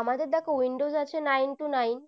আমাদের দেখো windows আছে nine to nine